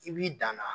I b'i dan na